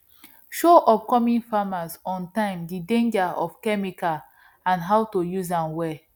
show upcoming farmers ontime the danger of chemical and how to use am well